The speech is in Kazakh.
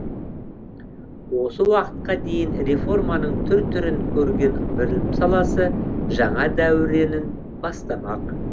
осы уақытқа дейін реформаның түр түрін көрген білім саласы жаңа дәуренін бастамақ